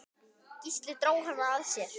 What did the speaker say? Gísli dró hana að sér.